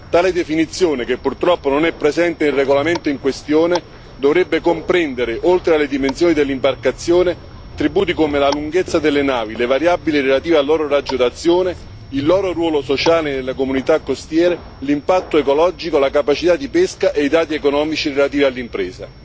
Tale definizione, che purtroppo non è presente nel regolamento in questione, dovrebbe comprendere, oltre alle dimensioni dell'imbarcazione, attributi come la lunghezza delle navi, le variabili relative al loro raggio d'azione, il loro ruolo sociale nelle comunità costiere, l'impatto ecologico, la capacità di pesca e i dati economici relativi all'impresa.